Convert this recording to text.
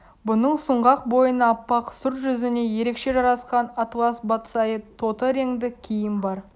бұның сұңғақ бойына аппақ сұр жүзіне ерекше жарасқан атлас батсайы тоты реңді киім бар